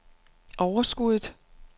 overskuddet